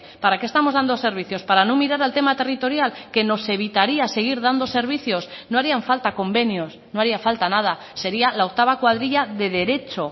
para qué estamos dando servicios para no mirar al tema territorial que nos evitaría seguir dando servicios no harían falta convenios no haría falta nada sería la octava cuadrilla de derecho